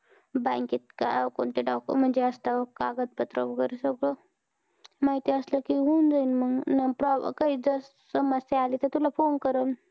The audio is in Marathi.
Bank त काय कोणते document असतं कागदपत्र, वगैरे सगळं माहिती असलं कि होऊन जाईल मग. pro काही समस्या आली, तर तुला phone करेल.